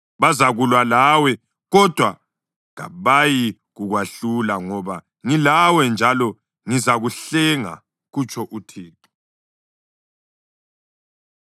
Bazakulwa lawe, kodwa kabayikukwehlula, ngoba ngilawe njalo ngizakuhlenga,” kutsho uThixo.